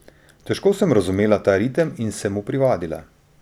Težko sem razumela ta ritem in se mu privadila.